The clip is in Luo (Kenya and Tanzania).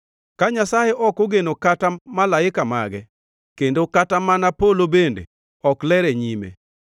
Ka Nyasaye ok ogeno kata malaika mage, kendo kata mana polo bende ok ler e nyime,